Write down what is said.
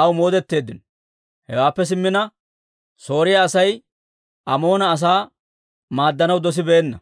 aw moodetteeddino. Hewaappe simmina, Sooriyaa Asay Amoona asaa maaddanaw dosibeenna.